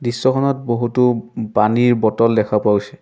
দৃশ্যখনত বহুতো পানীৰ বটল দেখা পোৱা গৈছে।